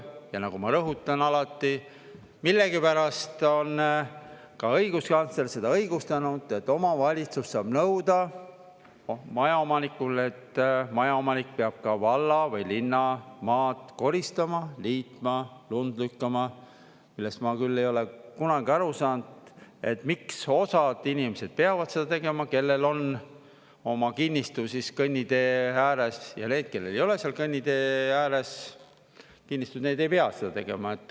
Ja nagu ma rõhutan alati, millegipärast on ka õiguskantsler seda õigustanud, et omavalitsus saab nõuda majaomanikult, et maja omanik peab ka valla või linna maad koristama, niitma, lund lükkama, millest ma küll ei ole kunagi aru saanud, miks osad inimesed peavad seda tegema, kellel on oma kinnistu kõnnitee ääres, ja need, kellel ei ole seal kõnnitee ääres kinnistuid, need ei pea seda tegema.